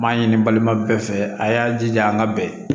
N m'a ɲini balima bɛɛ fɛ a y'a jija an ka bɛn